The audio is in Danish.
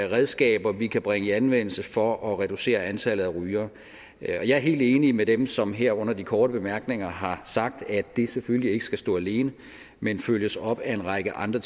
redskaber vi kan bringe i anvendelse for at reducere antallet af rygere jeg er helt enig med dem som her under de korte bemærkninger har sagt at det selvfølgelig ikke skal stå alene men følges op af en række andre